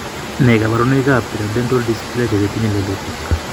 Nee kabarunoikab Pilodental dysplasia chetinye lelutik?